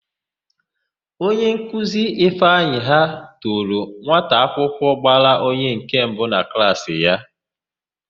Onyenkuzi Ifeanyị ha toro nwataakwụkwọ gbara onye nke mbụ na klaasị ya.